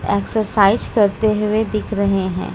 Exercise करते हुए दिख रहे हैं।